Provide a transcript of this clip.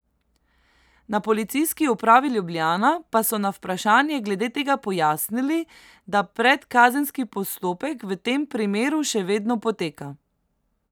Na Policijski upravi Ljubljana pa so na vprašanja glede tega pojasnili, da predkazenski postopek v tem primeru še vedno poteka.